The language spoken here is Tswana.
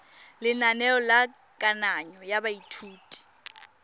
lenaneo la kananyo ya baithuti